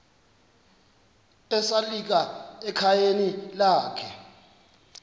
esalika ekhayeni lakhe